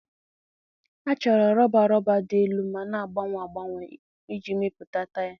A chọrọ rọba rọba dị elu ma na-agbanwe agbanwe iji mepụta taya.